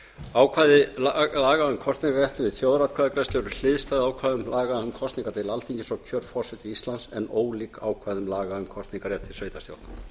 ákvæði laga um kosningarrétt við þjóðaratkvæðagreiðslur eru hliðstæð ákvæðum laga um kosninga til alþingis og kjör forseta íslands en ólík ákvæðum laga um kosningarrétt til sveitarstjórna